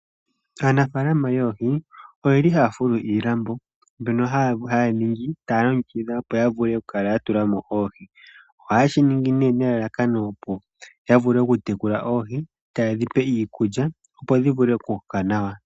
Aanafalama yoohi oyeli haya fulu iilambo mbyono haya ningi taya longekidha opo ya vule okukala ya tulamo oohi. Ohaye shi ningi ne nelalakano opo ya vule oku tekula oohi tayedhi pe iikulya opo dhi vule oku koka nawa.